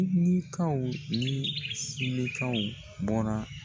ni silikaw bɔra.